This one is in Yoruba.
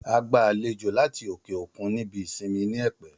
A gba àlejò láti òkè òkun ní ibi ìsinmi ní Ẹ̀pẹ́